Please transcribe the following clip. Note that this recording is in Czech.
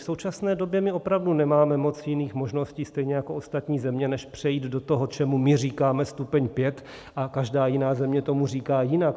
V současné době my opravdu nemáme moc jiných možností, stejně jako ostatní země, než přejít do toho, čemu my říkáme stupeň 5, a každá jiná země tomu říká jinak.